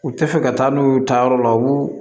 U tɛ fɛ ka taa n'u ye u taa yɔrɔ la u b'u